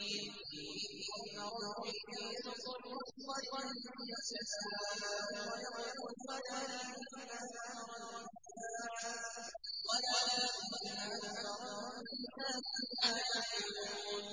قُلْ إِنَّ رَبِّي يَبْسُطُ الرِّزْقَ لِمَن يَشَاءُ وَيَقْدِرُ وَلَٰكِنَّ أَكْثَرَ النَّاسِ لَا يَعْلَمُونَ